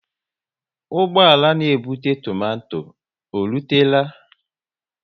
Ụgbọala na ebute tomato e rutela?